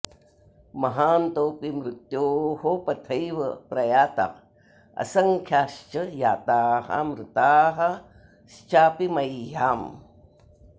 महान्तोऽपि मृत्योः पथैव प्रयाता असङ्ख्याश्च जाता मृताश्चापि मह्याम्